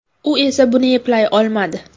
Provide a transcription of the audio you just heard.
U esa buni eplay olmadi.